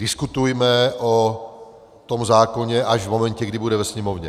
Diskutujme o tom zákoně až v momentě, kdy bude ve Sněmovně.